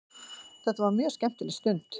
Þetta var mjög skemmtileg stund.